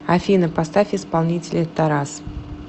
афина поставь исполнителя тарас